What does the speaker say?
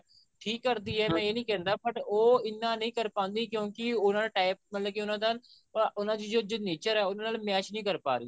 ਠੀਕ ਕਰਦੀ ਐ ਮੈਂ ਇਹ ਨਹੀਂ ਕਹਿੰਦਾ but ਉਹ ਇੰਨਾ ਨਹੀਂ ਕਰ ਪਾਂਦੀ ਕਿਉਂਕਿ ਉਹਨਾ ਦਾ time ਮਤਲਬ ਕਿ ਉਹਨਾ ਦੀ ਜੋ nature ਐ ਜੋ ਉਹਨਾਂ ਨਾਲ match ਨਹੀਂ ਕਰ ਪਾ ਰਹੀ